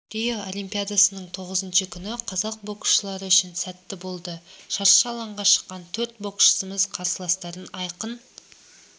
рио олимпиадасының тоғызыншы күні қазақ боксшылары үшін сәтті болды шаршы алаңға шыққан төрт боксшымыз қарсыластарын айқын